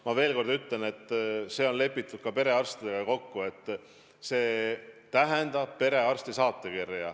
Ma veel kord ütlen, et perearstidega on kokku lepitud, et vaja läheb perearsti saatekirja.